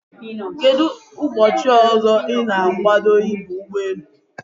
Kedụ ụbọchị ọzọ ị na-agwado ịba ụgbọelu?